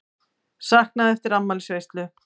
Saknað eftir afmælisveislu